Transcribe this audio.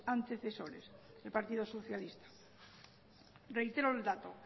antecesores el partido socialista reitero el dato